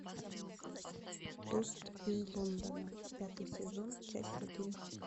тост из лондона пятый сезон часть один